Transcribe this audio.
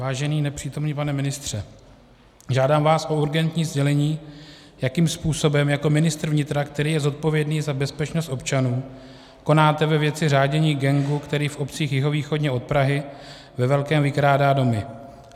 Vážený nepřítomný pane ministře, žádám vás o urgentní sdělení, jakým způsobem jako ministr vnitra, který je zodpovědný za bezpečnost občanů, konáte ve věci řádění gangu, který v obcích jihovýchodně od Prahy ve velkém vykrádá domy.